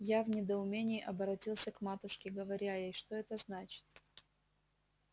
я в недоумении оборотился к матушке говоря ей что это значит